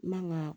Man ka